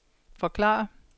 forklare